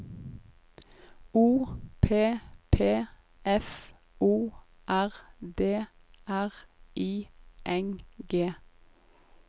O P P F O R D R I N G